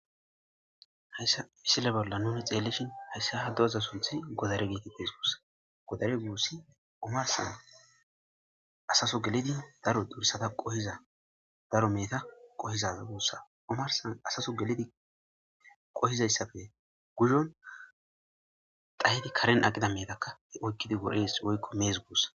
Hayssa misile bolla nuni xeellishin hayssa ha do7za sunthi godare geetites guussa godare guussi omarsan asaso gelidi daro dursada qohiza daro meeta qohizaza guussa omarsan asaso gelidi qohizayssafe guzon dhayydi karen aqida meetakka he oykkidi wodees woykko mees guussa.